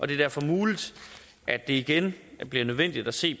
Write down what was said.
det er derfor muligt at det igen bliver nødvendigt at se